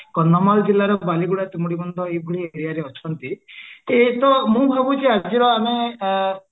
କନ୍ଧମାଳ ଜିଲ୍ଲାର ବାଲିଗୁଡା ତୁମୁଦି ବନ୍ଦ ଏହି ଭଳି areaରେ ଅଛନ୍ତି ଏଇତ ମୁଁ ଭାବୁଛି ଆଜି ର ଆମେ ଆଁ